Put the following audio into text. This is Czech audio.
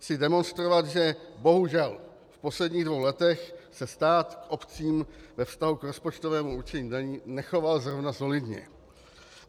Chci demonstrovat, že bohužel v posledních dvou letech se stát k obcím ve vztahu k rozpočtovému určení daní nechoval zrovna solidně.